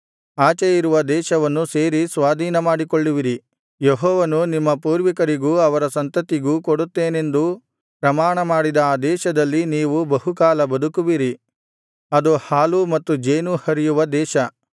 ದೇಶವನ್ನು ಸೇರಿ ಸ್ವಾಧೀನ ಮಾಡಿಕೊಳ್ಳುವಿರಿ ಯೆಹೋವನು ನಿಮ್ಮ ಪೂರ್ವಿಕರಿಗೂ ಅವರ ಸಂತತಿಗೂ ಕೊಡುತ್ತೇನೆಂದು ಪ್ರಮಾಣಮಾಡಿದ ಆ ದೇಶದಲ್ಲಿ ನೀವು ಬಹುಕಾಲ ಬದುಕುವಿರಿ ಅದು ಹಾಲೂ ಮತ್ತು ಜೇನೂ ಹರಿಯುವ ದೇಶ